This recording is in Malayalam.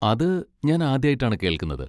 അത് ഞാൻ ആദ്യായിട്ടാണ് കേൾക്കുന്നത്.